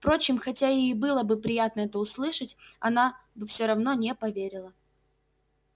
впрочем хотя ей и было бы приятно это услышать она бы всё равно не поверила